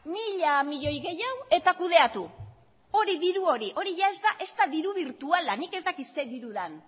mila milioi gehiago eta kudeatu hori diru hori hori ia ez da ezta diru birtuala nik ez dakit ze diru den